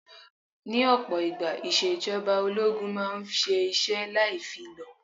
Ní ọ̀pọ̀ ìgbà, ìṣèjọba ológun máa ń ṣe iṣẹ́ láì fi lọ̀.